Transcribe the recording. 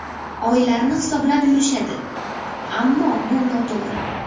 Oylarni hisoblab yurishadi, ammo bu noto‘g‘ri.